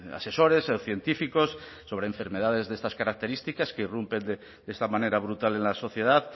asesores científicos sobre enfermedades de estas características que irrumpen de esta manera brutal en la sociedad